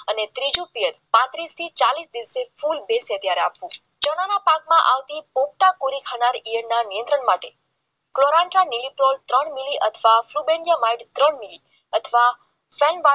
patties થી ચાલીસ આપવું ચણાના પાકમાં આવતી પૂરી થતાં યજ્ઞ નિયંત્રણ માટે અથવા અથવા સનડાય